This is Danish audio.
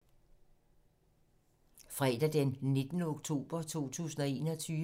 Fredag d. 19. november 2021